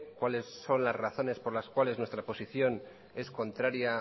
cuáles son las razones por las cuales nuestra posición es contraria